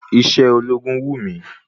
Iṣé ológun wù mí.